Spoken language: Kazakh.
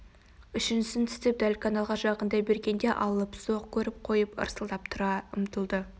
үшіншісін тістеп дәл каналға жақындай бергенде алыпсоқ көріп қойып арсылдап тұра ұмтылды